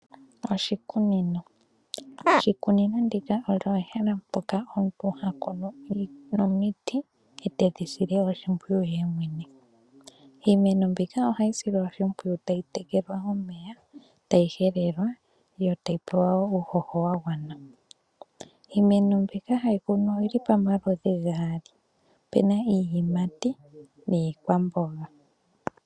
Oshikunino. Oshikunino ndika olyo ehala mpoka omuntu hakunu omiti e te dhi sile oshimpwiyu ye mwene. Iimeno mbika oha hi silwa oshimpwiyu ta yi tekelwa momeya ,ta yi helelwa yo ta yi pewa wo uuhoho wa gwana . Iimeno mbika ha yi kunwa oyi li pomaludhi gaali. O pe na iiyimati niikwamboga .